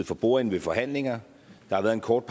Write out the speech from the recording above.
for bordenden ved forhandlinger der har været en kort